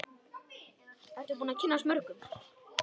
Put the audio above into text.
Ertu búin að kynnast mörgum?